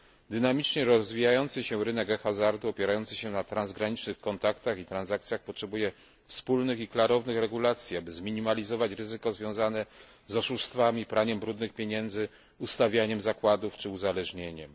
Dynamicznie rozwijający się rynek hazardu opierający się na transgranicznych kontaktach i transakcjach potrzebuje wspólnych i klarownych regulacji, aby zminimalizować ryzyko związane z oszustwami, praniem brudnych pieniędzy, ustawianiem zakładów czy uzależnieniem.